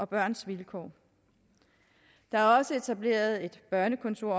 børns vilkår der er også etableret et børnekontor